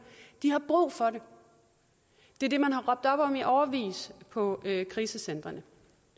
har brug for det det er det man har råbt op om i årevis på krisecentrene